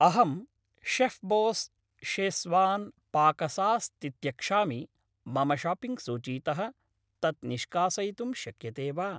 अहं शेफ्बोस् शेस्वान् पाकसास् तित्यक्षामि, मम शाप्पिङ्ग् सूचीतः तत् निष्कासयितुं शक्यते वा?